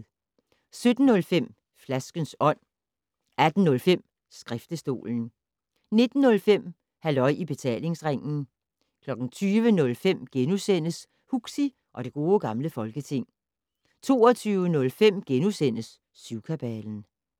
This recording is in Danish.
17:05: Flaskens Ånd 18:05: Skriftestolen 19:05: Halløj i Betalingsringen 20:05: Huxi og det Gode Gamle Folketing * 22:05: Syvkabalen *